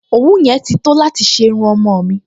Òwú yẹn ti tó láti ṣe irun ọmọ-ọ̀n mi